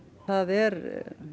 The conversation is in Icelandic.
það er